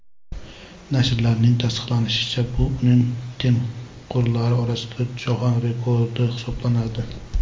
Nashrning tasdiqlashicha, bu uning tengqurlari orasida jahon rekordi hisoblanadi.